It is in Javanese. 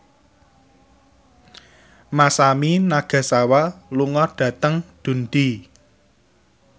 Masami Nagasawa lunga dhateng Dundee